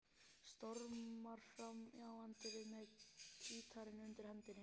Stormar fram í anddyrið með gítarinn undir hendinni.